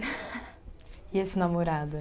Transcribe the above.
E esse namorado aí?